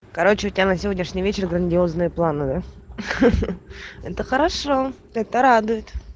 короче у тебя на сегодняшний вечер грандиозные планы да ха-ха это хорошо это радует